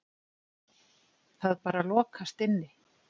Það bara lokast inni.